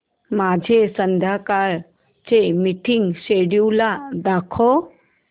माझे संध्याकाळ चे मीटिंग श्येड्यूल दाखव